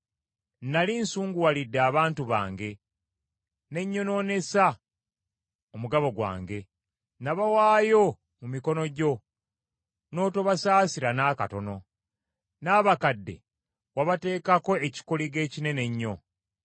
Nnali nsunguwalidde abantu bange, ne nyonoonesa omugabo gwange. Nabawaayo mu mikono gyo, n’otobasaasira n’akatono. N’abakadde wabateekako ekikoligo ekinene ennyo.